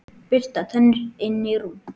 Bursta tennur, inn í rúm.